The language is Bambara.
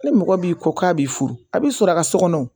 Ni mɔgɔ b'i kɔ k'a b'i furu a b'i sɔrɔ a ka so kɔnɔ